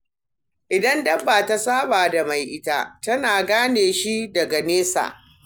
Idan dabba ta saba da mai ita, tana gane shi daga nesa.